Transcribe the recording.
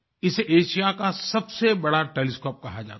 इसे एशिया का सबसे बड़ा टेलीस्कोप कहा जाता है